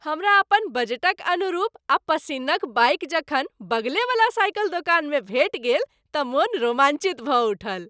हमरा अपन बजटक अनुरूप आ पसिन्न क बाइक जखन बगलेवला साइकिल दोकानमे भेटि गेल तँ मोन रोमांचित भऽ उठल।